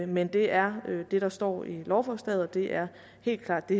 men det er det der står i lovforslaget og det er helt klart det